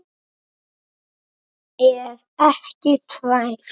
Ef ekki tvær.